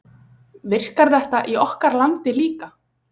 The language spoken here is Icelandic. Virkar þetta í okkar landi líka?